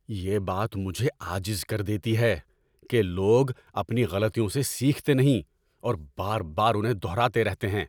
یہ بات مجھے عاجز کر دیتی ہے کہ لوگ اپنی غلطیوں سے سیکھتے نہیں اور بار بار انہیں دہراتے رہتے ہیں۔